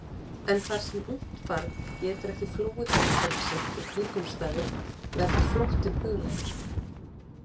En þar sem ungt barn getur ekki flúið umhverfi sitt og kringumstæður verður flóttinn huglægur.